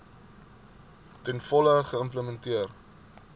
ten volle geïmplementeer